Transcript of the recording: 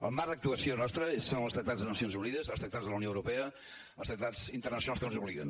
el marc d’actuació nostra són els tractats de les nacions unides els tractats de la unió europea els tractats internacionals que ens obliguen